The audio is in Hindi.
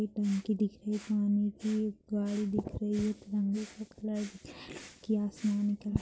एक टंकी दिख रहीं हैं पानी की ऊपर--